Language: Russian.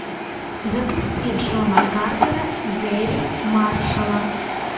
запусти джона картера гэрри маршалла